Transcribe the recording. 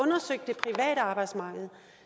at arbejdsmarked